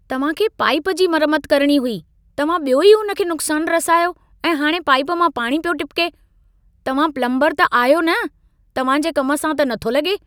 तव्हांखे पाइप जी मरमत करणी हुई। तव्हां ॿियो ई उन खे नुक़्सान रसायो ऐं हाणे पाइप मां पाणी पियो टपिके! तव्हां प्लम्बरु त आहियो न? तव्हां जे कम सां त नथो लगे॒।